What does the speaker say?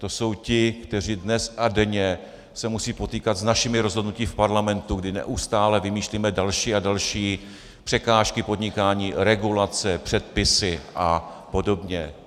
To jsou ti, kteří dnes a denně se musí potýkat s našimi rozhodnutími v parlamentu, kdy neustále vymýšlíme další a další překážky podnikání, regulace, předpisy a podobně.